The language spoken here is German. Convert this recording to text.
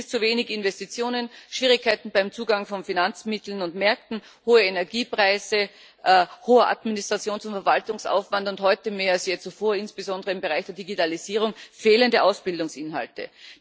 Es sind dies zu wenige Investitionen, Schwierigkeiten beim Zugang von Finanzmitteln und Märkten, hohe Energiepreise, hoher Administrations und Verwaltungsaufwand und, heute mehr als je zuvor, insbesondere im Bereich der Digitalisierung, fehlende Ausbildungsinhalte.